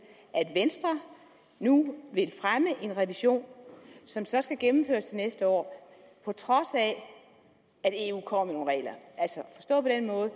at venstre nu vil fremme en revision som så skal gennemføres til næste år på trods af at eu kommer med nogle